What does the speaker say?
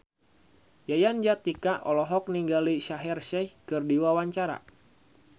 Yayan Jatnika olohok ningali Shaheer Sheikh keur diwawancara